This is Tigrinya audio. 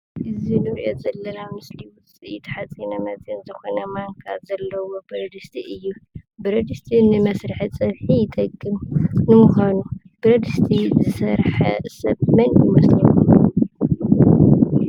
እዙይ ኣብ ምስሊ እንርእዮ ዘለና ውፅኢት ሓፂነ መፀን ዝኾነ ማንካ ዘለዎ ብረድስቲ እዩ። ብረድስቲ ንመስርሒ ፀብሒ ይጠቅም። ንምዃኑ ብረድስቲ ዝሰረሐ ሰብ መን ይመስለኩም?